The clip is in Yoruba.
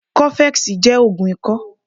Coffex jẹ́ ògùn ikọ́